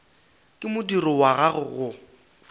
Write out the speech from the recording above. ka modiro wa gagwe go